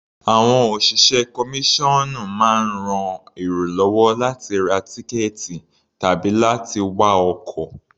Àwọn òṣìṣẹ́ kọmíṣọ́ọ̀nù máa ń ran èrò lọ́wọ́ láti ra tíkẹ̀ẹ̀tì tàbí láti wá ọkọ̀.